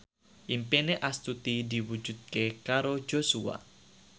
impine Astuti diwujudke karo Joshua